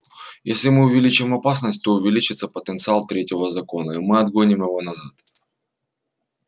если мы увеличим опасность то увеличится потенциал третьего закона и мы отгоним его назад